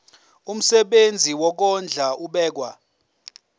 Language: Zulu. umsebenzi wokondla ubekwa